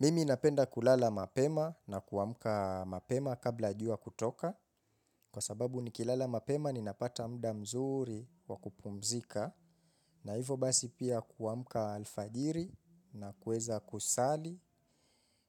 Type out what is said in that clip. Mimi napenda kulala mapema na kuamka mapema kabla ya jua kutoka kwa sababu nikilala mapema ninapata muda mzuri wakupumzika na hivo basi pia kuamka alfajiri na kuweza kusali